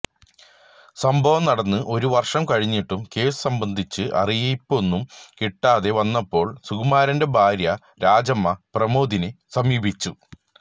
സംഭവം നടന്ന് ഒരു വർഷം കഴിഞ്ഞിട്ടും കേസ് സംബന്ധിച്ച് അറിയിപ്പൊന്നും കിട്ടാതെ വന്നപ്പോൾ സുകുമാരന്റെ ഭാര്യ രാജമ്മ പ്രമോദിനെ സമീപിച്ചു